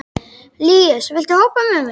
Líus, viltu hoppa með mér?